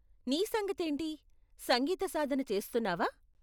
నీ సంగతేంటి, సంగీత సాధన చేస్తున్నావా?